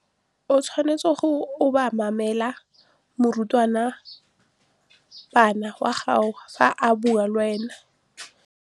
O tshwanetse go obamela morutabana wa gago fa a bua le wena.